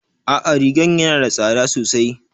A'a rigan yana da tsada sosai